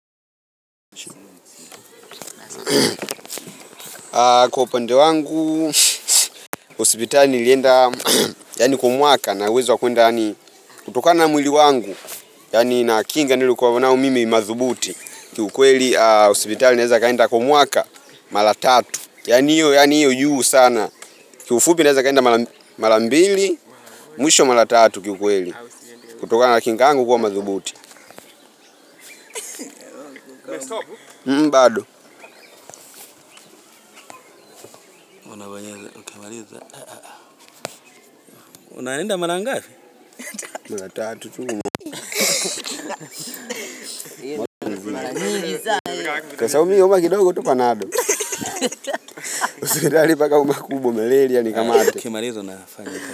Kwa upande wangu, hospitali nilienda kwa mwaka ninauwezo wa kuenda kutoka na mwili wangu yaani na kinga nililo kwa wanao mimi madhubuti kiukweli hospitali ninaeza kuenda kwa mwaka mara tatu yaani iyo juu sana kiufupi naeza kunda mara mbili mwisho mara tatu kiukweli kutokana kinga angu kwa madhubuti bado unaenda mara ngapi mara tatu tu kwa sababu mi humwa kidogo tu pa nado hospitali mbaka umaumwe tu na Malaria ni kamate. Ukimaliza unafanya.